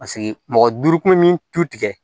Paseke mɔgɔ duuru kun min tu tigɛ